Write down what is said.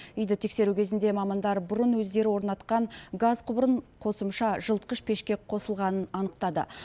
үйді тексеру кезінде мамандар бұрын өздері орнатқан газ құбырын қосымша жылытқыш пешке қосылғанын анықтады